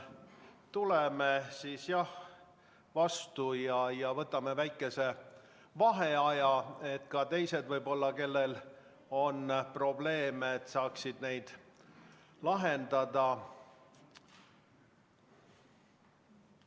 Tuleme siis vastu ja võtame väikese vaheaja, et ka teised, kellel on võib-olla probleeme, saaksid neid lahendada.